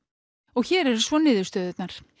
og hér eru svo niðurstöðurnar